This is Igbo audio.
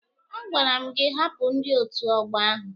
A gwara m gị hapụ ndị otu ọgbọ ahụ!